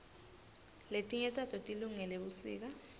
letinye tato tilungele busika